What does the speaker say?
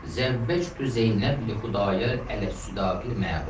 Zəvvəcdü Zeynəb li Xudayar ələs sudaqil məlum.